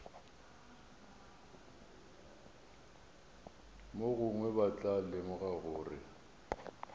mogongwe ba tla lemoga gore